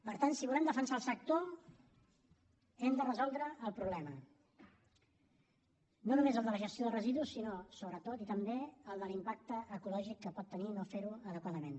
per tant si volem defensar el sector hem de resoldre el problema no només de la gestió de residus sinó sobretot i també el de l’impacte ecològic que pot tenir no fer ho adequadament